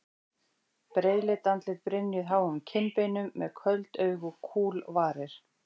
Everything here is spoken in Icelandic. Breiðleit andlit brynjuð háum kinnbeinum, með köld augu og kúl varir.